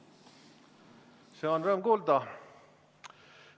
Seda on rõõm kuulda.